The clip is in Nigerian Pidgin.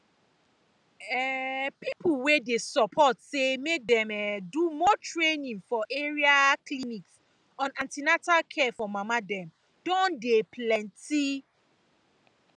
um people wey dey support say make dem um do more training for area um clinics on an ten atal care for mama dem don dey plenty